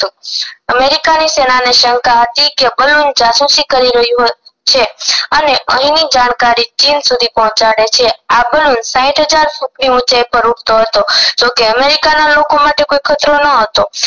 America ની સેનાને શંકા હતી કે બલૂન જાસૂસી કરી રહ્યું છે અને અહી ની જાણકારી ચીન સુધી પહોંચાડે છે આ બલૂન સાઈઠ હજાર ફૂટ ની ઊચાઇ પર ઊડતો હતો જો કે અમરીકાના લોકો માટે કોઈ ખતરો ન હતો